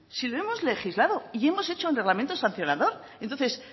si lo hemos legislado y hemos hecho el reglamento sancionador entonces